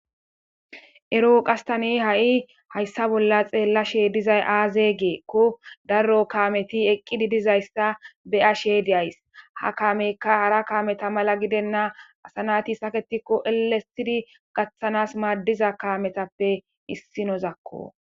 ero qastane ha7i hayssa bolla xeellashe dizay aaze geekko daro kaameti eqqididizayssa beyashe dyays ha kaameyka hara kaameta mala gidenna asanati saketikko elesidi gaththanas maaddiza kaametappe issinozakko.